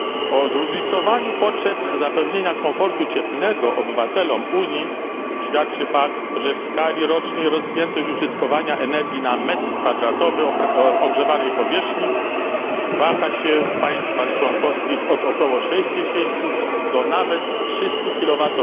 O zróżnicowaniu potrzeb zapewnienia komfortu cieplnego obywatelom Unii świadczy fakt, że w skali rocznej rozpiętość użytkowania energii na metr kwadratowy ogrzewanej powierzchni waha się w państwach członkowskich od około 60 do nawet 300 kWh.